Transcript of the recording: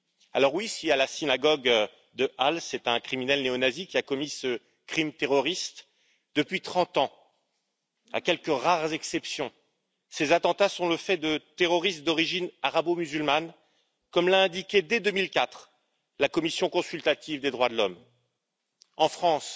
Alors oui, si à la synagogue de Halle, c'est un criminel néonazi qui a commis ce crime terroriste, depuis 30 ans, à quelques rares exceptions, ces attentats sont le fait de terroristes d'origine arabo musulmane, comme l'a indiqué, dès 2004, la commission consultative des droits de l'homme. En France,